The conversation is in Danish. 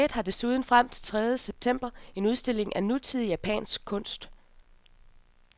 Museet har desuden frem til tredje september en udstilling af nutidig japansk kunst.